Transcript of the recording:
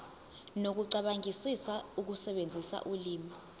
nokucabangisisa ukusebenzisa ulimi